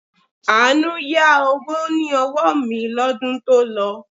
Àánú yá owó ní ọwọ́ mi lọ́dún to lọ